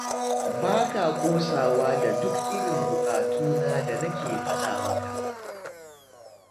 Ba ka ƙosawa da duk irin buƙatu na da nake faɗa maka